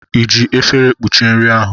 I ji efere kpuchie nri ahụ?